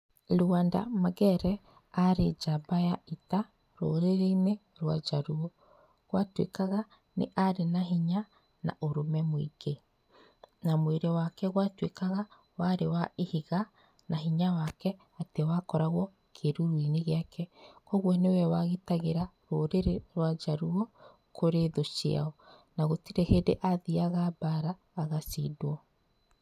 Lwanda Magere arĩ njamba ya ita rũrĩrĩinĩ rwa njaruo. Gwatuĩkaga arĩ na hinya na ũrũme mũingĩ, na mwĩrĩ wake watuĩkaga warĩ wa ihiga na hinya wake atĩ wakoragwo kĩruruinĩ gĩake, koguo nĩwe wagitagĩra rũrĩrĩ rwa njaruo kũrĩ thũ ciao na gũtirĩ hĩndĩ athiaga mbara agacindwo.